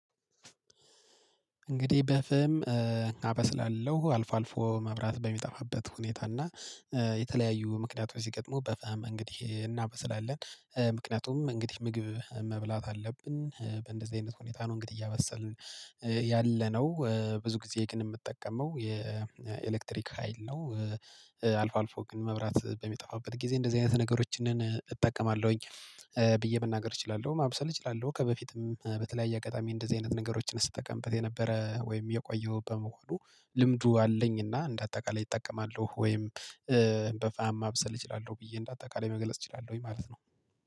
እንግዲህ በፍም አበስላለሁ አልፎ አልፎ መብራት በሚጠፋበት ሁኔታ እና የተለያዩ ምክንያት ስገጥሙ በፈሃም እንግዲህ እናበስላለን ምክንያቱም እንግዲህ ምግብ መብላት አለብን በእንደዚህ አይነት ሁኔታ ነው። እንግዲህ እያበሰልን ያለነው ብዙ ጊዜ የቅን የምጠቀመው የኤሌክትሪክ ሀይል ነው። አልፎ አልፎ ግን መብራት በሚጠፋበት ጊዜ እንደዚህ አይነት ነገሮችን እጠቀማለሁኝ ብዬ መናገር እችላለሁ ማብሰል እችላለሁ። ከበፊትም በተለያየ አጋጣሚ እንደዚህ አይነት ነገሮችን ስትጠቀምበት የነበረ ወይም የቆየው በመሆኑ ልምዱ አለኝና እንደ አጠቃላይ እጠቀማለሁ። ወይም በፋማ ማብሰል እችላለሁ ብዬ እንደ አጠቃላይ መግለጽ እችላለሁ ወይ ማለት ነው